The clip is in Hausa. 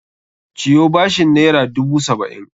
Ciyo bashin naira dubu saba'in!